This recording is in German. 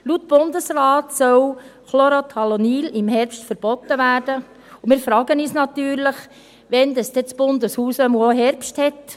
Laut dem Bundesrat sollte Chlorothalonil im Herbst verboten werden, und wir fragen uns natürlich, wann das Bundeshaus dann auch Herbst hat.